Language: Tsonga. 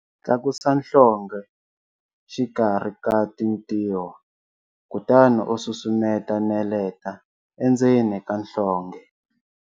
Tlakusa nhlonghe xikarhi ka tintiho, kutani u susumeta neleta endzeni ka nhlonghe.